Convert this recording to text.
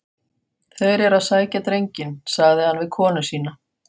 Þeir eru að sækja drenginn, sagði hann við konu sína.